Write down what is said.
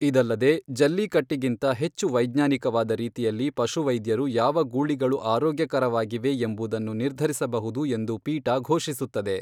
ಇದಲ್ಲದೆ, ಜಲ್ಲಿಕಟ್ಟಿಗಿಂತ ಹೆಚ್ಚು ವೈಜ್ಞಾನಿಕವಾದ ರೀತಿಯಲ್ಲಿ ಪಶುವೈದ್ಯರು ಯಾವ ಗೂಳಿಗಳು ಆರೋಗ್ಯಕರವಾಗಿವೆ ಎಂಬುದನ್ನು ನಿರ್ಧರಿಸಬಹುದು ಎಂದು ಪೀಟಾ ಘೋಷಿಸುತ್ತದೆ.